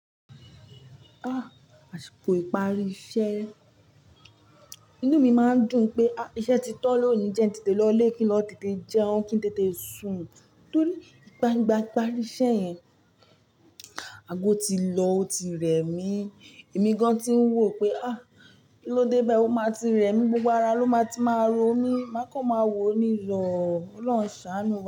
Àsìkò ìparí iṣẹ́, inú mi máa ń dùn pé iṣẹ́ ti tán lónìí jẹ́ n tètè lọlé, kí n tètè jẹun, kí n tètè sùn. Tóri igba ìparí iṣẹ́ yẹn, ago tí lọ, ó ti rẹ̀ mí. Èmi gan tí ń wò pé kí ló dé bái, ọ máa ti rẹ̀ mí, gbogbo ara ló máa ti máa rọ mí. Má kọ máa wo'ni lọ. Ọlọ́run ṣàánú.